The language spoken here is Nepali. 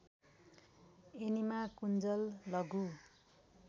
एनिमा कुन्जल लघु